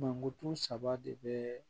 Mankutu saba de bɛ